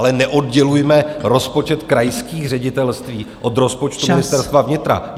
Ale neoddělujme rozpočet krajských ředitelství od rozpočtu Ministerstva vnitra.